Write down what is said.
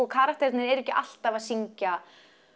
karakterarnir eru ekki alltaf að syngja